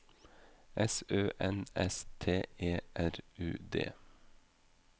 S Ø N S T E R U D